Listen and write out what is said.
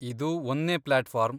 ಇದು ಒಂದ್ನೇ ಪ್ಲಾಟ್ಫಾರ್ಮ್.